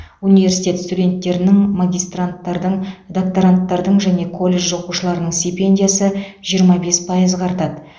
университет студенттерінің магистранттардың докторанттардың және колледж оқушыларының стипендиясы жиырма бес пайызға артады